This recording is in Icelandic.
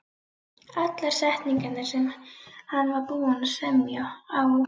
Allar setningarnar, sem hann var búinn að semja á